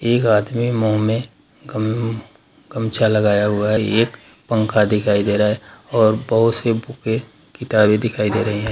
एक आदमी मुह में गम गमछा लगाया हुआ है एक पंखा दिखाई दे रहा है और बहुत से बुके किताबे दिखाई दे रहे हैं।